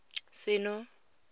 seno